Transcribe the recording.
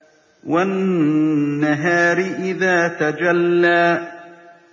وَالنَّهَارِ إِذَا تَجَلَّىٰ